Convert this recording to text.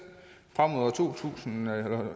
frem mod år to tusind